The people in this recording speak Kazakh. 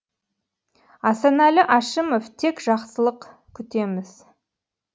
асанәлі әшімов тек жақсылық күтеміз